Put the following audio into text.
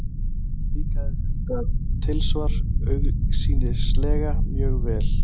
Líkaði þetta tilsvar augsýnilega mjög vel.